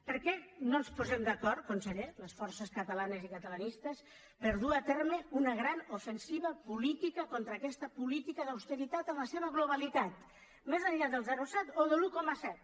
per què no ens posem d’acord conseller les forces catalanes i catalanistes per dur a terme una gran ofensiva política contra aquesta política d’austeritat en la seva globalitat més enllà del zero coma set o de l’un coma set